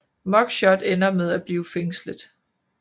Muggshot ender med at blive fængslet